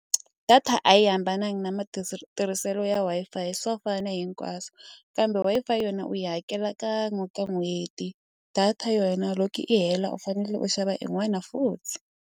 Data a yi hambananga na tirhiselo ya Wi-Fi swa fana hinkwaswo kambe Wi-Fi yona u yi hakela kan'we ka n'hweti data yona loko i hela u fanele u xava i n'wana futhi.